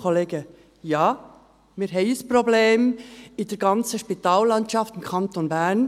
Ja, wir haben ein Problem in der ganzen Spitallandschaft im Kanton Bern.